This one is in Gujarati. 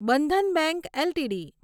Bandhan bank LTD